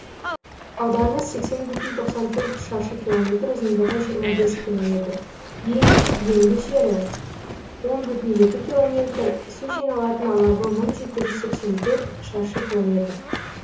ауданы сексен бүтін тоқсан төрт шаршы километр ұзындығы жиырма бес километр ең енді жері он бүтін екі километр су жиналатын алабы мың жеті жүз сексен төрт шаршы километр